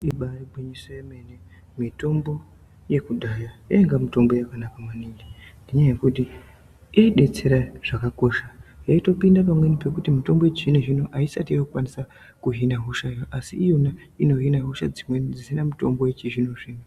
Ibari gwinyiso remene mitombo yekudhaya yainga mitombo yakanaka maningi ngenyaya yekuti yaidetsera zvakakosha yaitopinda pamweni pekutoti mitombo yechizvinozvino aisati yokwanisa kuhine hosha iyo asi iyona inohina hosha dzimweni dzisina mitombo yechizvinozvino.